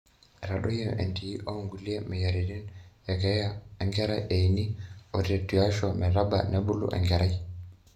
eitadoiyio entii oonkulie mweyiaritin okeeya enkera eini ote tuaisho metaba nebulu enkerai